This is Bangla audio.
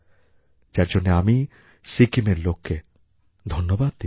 যার জন্যে আমি সিকিমের লোককে ধন্যবাদ দিচ্ছি